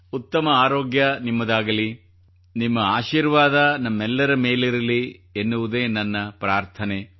ಉತ್ತಮ ಆರೋಗ್ಯ ನಿಮ್ಮದಾಗಿರಲಿ ನಿಮ್ಮ ಆಶೀರ್ವಾದ ನಮ್ಮೆಲ್ಲರ ಮೇಲಿರಲಿ ಎನ್ನುವುದೇ ನನ್ನ ಪ್ರಾರ್ಥನೆ